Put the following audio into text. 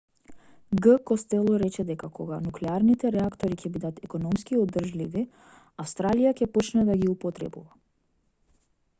г костело рече дека кога нуклеарните реактори ќе бидат економски одржливи австралија ќе почне да ги употребува